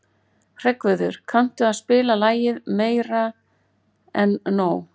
Hreggviður, kanntu að spila lagið „Meira En Nóg“?